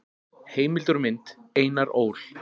Heimildir og mynd: Einar Ól.